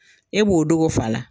E b'o dogo fa la